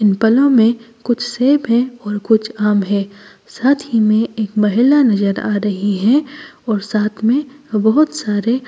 इन पलों में कुछ सेब है और कुछ आम है साथ ही में एक महिला नजर आ रही है और साथ में बहुत सारे--